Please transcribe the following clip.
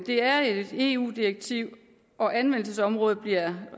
er et eu direktiv og anvendelsesområdet bliver